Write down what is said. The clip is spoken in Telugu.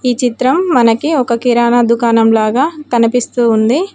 ఈ చిత్రం మనకి ఒక కిరాణా దుకాణం లాగా కనిపిస్తు ఉంది.